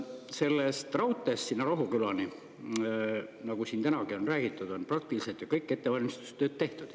Sellest raudteest sinna Rohukülani, nagu siin tänagi on räägitud, on praktiliselt kõik ettevalmistustööd tehtud.